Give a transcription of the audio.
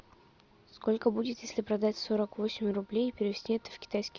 сколько будет если продать сорок восемь рублей и перевести это в китайский